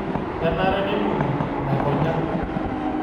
Kenare neibung'I laikonyak